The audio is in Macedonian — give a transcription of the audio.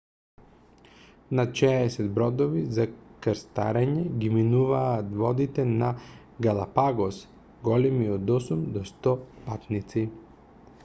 над 60 бродови за крстарење ги минуваат водите на галапагос големи од 8 до 100 патници